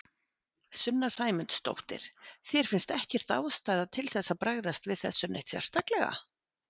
Sunna Sæmundsdóttir: Þér finnst ekkert ástæða til þess að bregðast við þessu neitt sérstaklega?